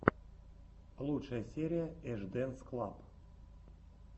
лучшая серия эш дэнс клаб